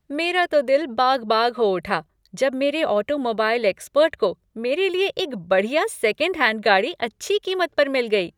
मेरा तो दिल बाग बाग हो उठा जब मेरे ऑटोमोबाइल एक्सपर्ट को मेरे लिए एक बढ़िया सेकंड हैंड गाड़ी अच्छी कीमत पर मिल गई।